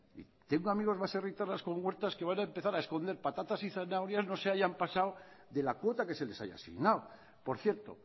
tengo amigos baserritarras con huertas que van a empezar a esconder patatas y zanahorias no se hayan pasado de la cuota que se les haya asignado por cierto